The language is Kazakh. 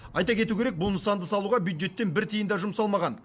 айта кету керек бұл нысанды салуға бюджеттен бір тиын да жұмсалмаған